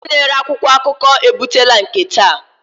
Onye na-ere akwụkwọ akụkọ ebutela nke taa.